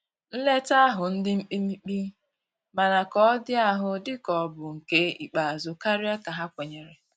Nleta ahu ndi mkpimikpi, mana ka ọ di ahụ di ka ọ bụ nke ikpeazu karia ka ha kwenyere.